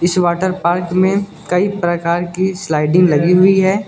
इस water park में कई प्रकार की स्लाइडिंग लगी हुई है।